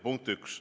Punkt üks.